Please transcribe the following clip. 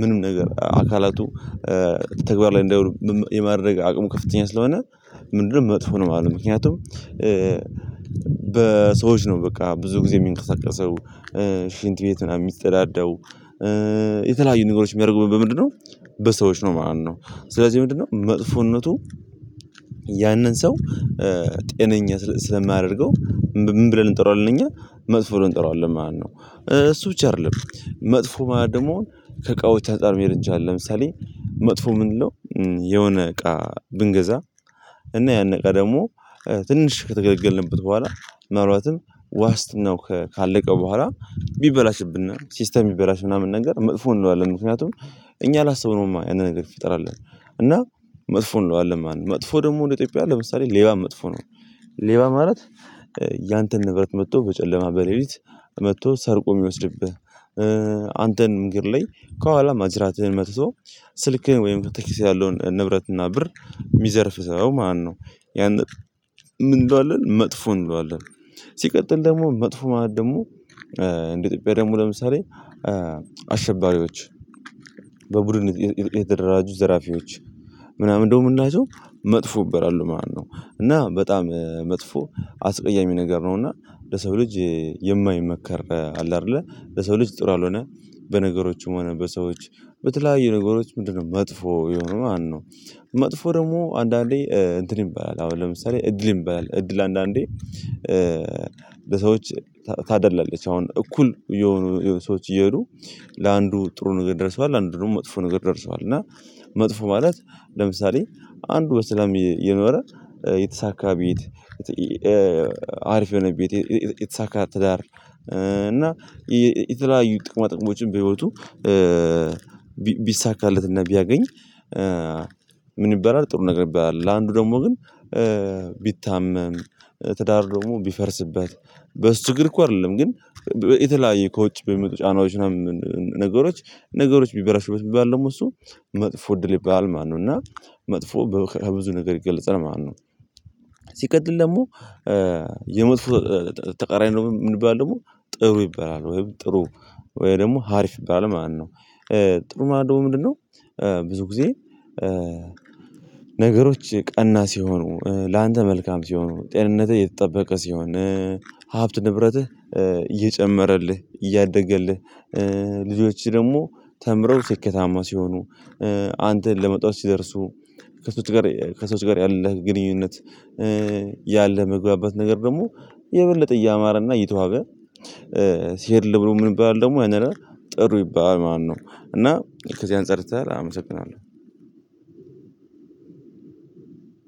ምንም ነገር አካላቱ ተግባር ላይ እንዳይውል የማድረግ አቅሙ ከፍተኛ ስለሆነ። ምንድነው መጥፎ ነው ማለት ነው። ምክንያቱም በሰዎች ነው በቃ ብዙ ጊዜ የሚንቀሳቀሰው ሽንት ቤት ምናምን የሚጠዳደው የተለያዩ ነገሮች የሚያደርገው ምንድነው? በሰዎች ነው ማለት ነው። ስለዚህ ምንድነው መጥፎነቱ? ያንን ሰው ጤነኛ ስለማያደርገው ምን ብለን እንጠራዋለን? እኛ መጥፎ ነው እንጠራዋለን። ማነው እሱ ብቻ አይደለም መጥፎ ማን ደግሞ ከቃው ተጠር መሄድ እንጃ አለ ለምሳሌ መጥፎ ምንድነው? የሆነ እቃ ብንገዛ እና ያን እቃ ደግሞ ትንሽ ከተገለገልንበት በኋላ። ምን አልባት ዋስት ነው። ካለቀው በኋላ ቢበላሽብን ሲስተም ቢበላሽ ምናምን ነገር መጥፎ እንለዋለን። ምክንያቱም እኛ አላስብነውማ ያንን ነገር ይፈጠራል ብለን እና መጥፎ እንለዋለን። መጥፎ ደግሞ ኢትዮጵያ ለምሳሌ ሌባ መጥፎ ነው። ሌባ ማለት ያንተን ንብረት መጥቶ በጨለማ በሌሊት መጥቶ ሰርቆ የሚወስድብህ። አንተን እንግዲህ ላይ ከኋላ ማጅራትህን መጥቶ ስልክህን ወይም ኪስ ያለውን ንብረት እና ብር። የሚዘርፍ ሰው ማነው? ያንን ምን እንለዋለን መጥፎ እንለዋለን። ሲቀጥል ደግሞ መጥፎ ማለት ደግሞ እንደ ኢትዮጵያ ደግሞ ለምሳሌ። አሸባሪዎች በቡድን የተደራጁ ዘራፊዎች ምናምን እንደው የምናየው መጥፎ ይበራሉ ማለት ነው። እና በጣም መጥፎ አስቀያሚ ነገር ነውና። ለሰው ልጅ የማይመከር አለ አይደለ ለሰው ልጅ ጥሩ ያልሆነ። በነገሮችም ሆነ በሰዎች በተለያዩ ነገሮች ምንድነው መጥፎ የሆኑ ማነው? መጥፎ ደግሞ አንዳንዴ እንትን ይበላል አሁን ለምሳሌ እድል ይበላል እድል አንዳንዴ በሰዎች ታደላለች አሁን እኩል። ሰዎች እየሄዱ ለአንዱ ጥሩ ነገር ደርሰዋል አንድ ነው መጥፎ ነገር ይደርሰዋል እና መጥፎ ማለት ለምሳሌ አንዱ በሰላም የኖረ የተሳካ ቤት። የሆነ ቤት የተሳካ ትዳር እና የተለያዩ ጥቅማ ጥቅሞችን በህይወቱ ቢሳካለትና ቢያገኝ። ምን ይባላል ጥሩ ነገር ይባላል። ለአንዱ ደግሞ ግን። ቢታመም ትዳር ደግሞ ቢፈርስበት በእሱ ችግር እኮ አይደለም ግን የተለያየ ከውጭ በሚመጡ ጫናዎች። ነገሮች ነገሮች ቢበላሽበት ቢባል ደግሞ እሱ መጥፎ እድል ይባል። ማነው እና መጥፎ በብዙ ነገር ይገለጻል ማነው? ሲቀጥል ደግሞ የመጥፎ ተቃራኒ ነው። የምንባለው ደግሞ ጥሩ ይበላል ወይም ጥሩ ወይ ደግሞ አሪፍ ይባላል ማነው? ጥሩ ማለት ደግሞ ምንድነው? ብዙ ጊዜ ነገሮች ቀና ሲሆኑ ላንተ መልካም ሲሆኑ ጤንነትህ የተጠበቀ ሲሆን። ሀብት ንብረትህ እየጨመረልህ እያደገልህ። ልጆች ደግሞ ተምረው ስኬታማ ሲሆኑ። አንተን ለመተው ሲደርሱ። ከሰዎች ጋር ከሰዎች ጋር ያለህ ግንኙነት። ያለህ መግባባት ነገር ደግሞ የበለጠ እያማረ እና እየተዋበ። ሲሄድልህ ብሎ ምን የምንባለው ደግሞ ያንን ጥሩ ይባላል ማለት ነው። እና ከዚያን አንፃር ሲሆን አመሰግናለሁ።